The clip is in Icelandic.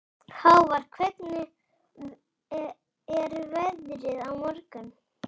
Hávarr, hvernig er veðrið á morgun?